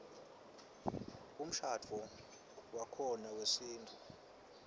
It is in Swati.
umshadvo wakhona wesintfu